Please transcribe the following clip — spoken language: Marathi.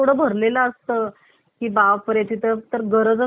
की बापरे तिथे तो गरजच आहे CCTV ची